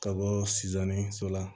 Ka bɔ sonsanni so la